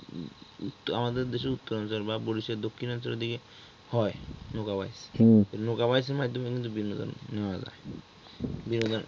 আমাদের দেশের উত্তরাঞ্চল বা বরিশালের দক্ষিণাঞ্চলের দিকে হয় নৌকা বাই নৌকা নৌকা বাইয়ের মাধ্যমে কিন্তু বিনোদন নেওয়া যায় বিনোদন